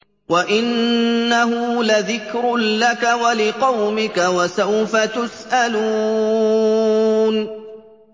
وَإِنَّهُ لَذِكْرٌ لَّكَ وَلِقَوْمِكَ ۖ وَسَوْفَ تُسْأَلُونَ